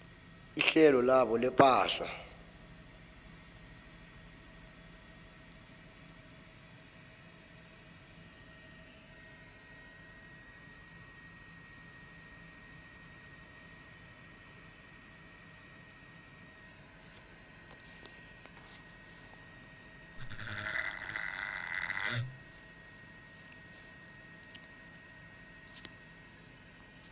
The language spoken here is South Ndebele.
ihlelo labo lepahla